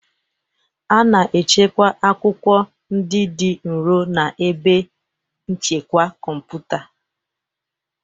A na-echekwa akwụkwọ ndị dị nro na ebe nchekwa kọmputa